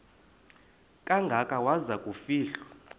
kangaka waza kufihlwa